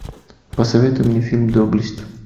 посоветуй мне фильм доблесть